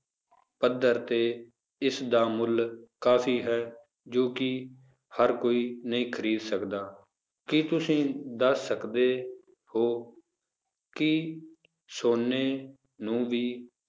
ਪੱਧਰ ਤੇ ਇਸਦਾ ਮੁੱਲ ਕਾਫ਼ੀ ਹੈ, ਜੋ ਕਿ ਹਰ ਕੋਈ ਨਹੀਂ ਖ਼ਰੀਦ ਸਕਦਾ, ਕੀ ਤੁਸੀਂ ਦੱਸ ਸਕਦੇ ਹੋ ਕਿ ਸੋਨੇ ਨੂੰ ਵੀ